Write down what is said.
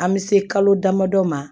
An bɛ se kalo damadɔ ma